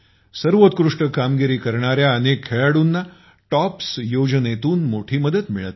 सर्वोत्कृष्ट कामगिरी करणाऱ्या अनेक खेळाडूंना टॉप्स योजनेतून मोठी मदत मिळत आहे